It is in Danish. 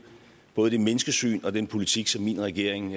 både det menneskesyn og den politik som min regering